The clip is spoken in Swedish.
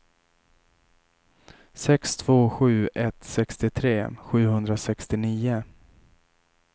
sex två sju ett sextiotre sjuhundrasextionio